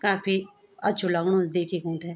काफी अच्छू लगणु च देखिक उन्थे।